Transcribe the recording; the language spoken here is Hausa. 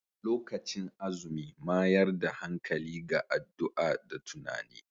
Lokacin azumi mayar da hankali ga addu'a da tunani.